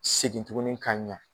Segin tugunni ka ɲa